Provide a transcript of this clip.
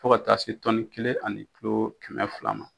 Fo ka taa se tɔnni kelen ani kulo kɛmɛ fila ma.